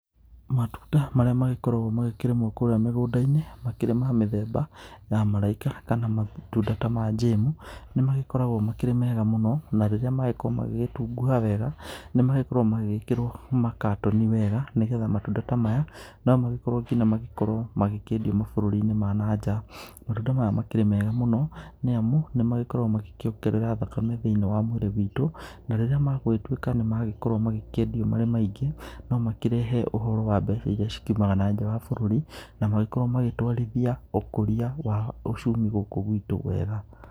Matunda marĩa magĩkoragwo magĩkĩrĩmwo kũrĩa mĩgũnda-inĩ makĩrĩ ma mĩthemba ya maraika kana matunda ta ma njemũ, nĩmagĩkoragwo makĩrĩ mega mũno na rĩrĩa magĩkorwo magĩgĩtunguha wega nĩmagĩkoragwo magĩgĩkĩrwo makatoni wega, nĩgetha matunda ta maya nomagĩkorwo nginya magĩkorwo magĩkĩendio mabũrũri-nĩ ma na nja. Matunda maya makĩrĩ mega mũno, nĩ amũ nĩmagikoragwo magĩkĩongerera thakame thĩiniĩ wa mwĩrĩ wĩtũ na rĩrĩa magũgĩtũĩka nĩmagĩkorwo magĩkĩendĩo marĩ maĩngĩ no makĩrehe ũhoro wa mbeca irĩa cikiumaga na nja wa bũrũrĩ na magĩkorwo magĩtwarithia ũkũria wa uchumi gũkũ gwitũ wega.